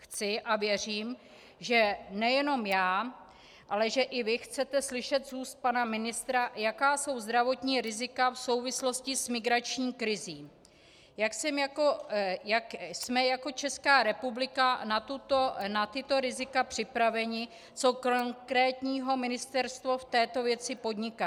Chci a věřím, že nejenom já, ale že i vy chcete slyšet z úst pana ministra, jaká jsou zdravotní rizika v souvislosti s migrační krizí, jak jsme jako Česká republika na tato rizika připraveni, co konkrétního ministerstvo v této věci podniká.